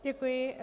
Děkuji.